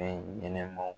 Fɛn ɲɛnɛmaw